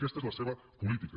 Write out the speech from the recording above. aquesta és la seva política